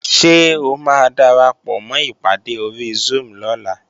Ṣé o máa darapọ̀mọ́ ìpàdé ori Zoom lọ́la?